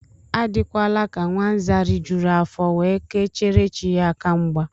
Adịkwana ka nwa Nza rijuru afọ, we ke chere chi ya aka mgba